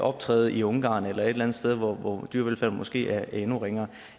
optræde i ungarn eller et eller andet sted hvor dyrevelfærden måske er endnu ringere